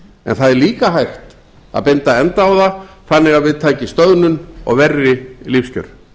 en það er líka hægt að binda enda á það þannig að við taki stöðnun og verri lífskjör